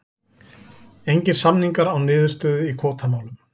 Engir samningar án niðurstöðu í kvótamálum